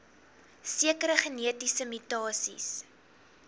sekere genetiese mutasies